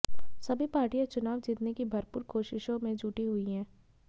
सभी पार्टियाँ चुनाव जीतने की भरपूर कोशिशों में जुटी हुई हैं